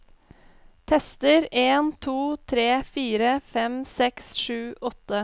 Tester en to tre fire fem seks sju åtte